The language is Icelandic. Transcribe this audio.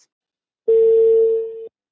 Það bætist og bætist við.